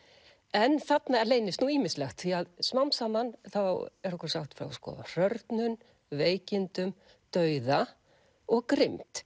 en þarna leynist nú ýmislegt því smám saman er okkur sagt frá hrörnun veikindum dauða og grimmd